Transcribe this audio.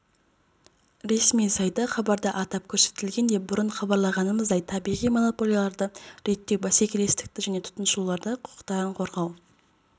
ресми сайты хабарда атап көрсетілгендей бұрын хабарлағанымыздай табиғи монополияларды реттеу бәсекелестікті және тұтынушылардың құқықтарын қорғау